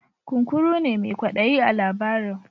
Kunkuru ne mai kwaɗayi a labarin.